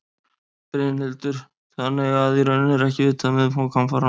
Brynhildur: Þannig að í rauninni er ekki vitað um umfang hamfaranna?